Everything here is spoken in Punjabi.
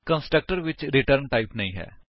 ਕੰਸਟਰਕਟਰ ਵਿੱਚ ਰਿਟਰਨ ਟਾਈਪ ਨਹੀਂ ਹੈ